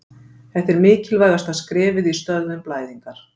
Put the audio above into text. þetta er mikilvægasta skrefið í stöðvun blæðingar